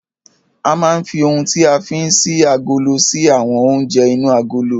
A máa ń fi oun tí a fí ń ṣí agolo ṣí àwọn oúnjẹ inú agolo.